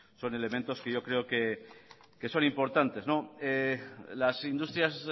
son elementos que yo creo que son importantes las industrias